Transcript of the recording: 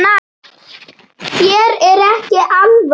Þér er ekki alvara